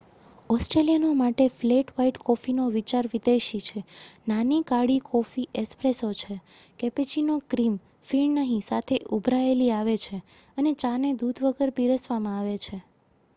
ઓસ્ટ્રેલિયનો માટે flat white કોફીનો વિચાર વિદેશી છે. નાની કાળી કોફી 'એસ્પ્રેસો' છે કેપેચિનો ક્ર્રિમ ફીણ નહિ સાથે ઉભરાયેલી આવે છે અને ચા ને દૂધ વગર પીરસવામાં આવે છે